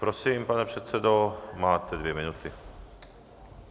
Prosím, pane předsedo, máte dvě minuty.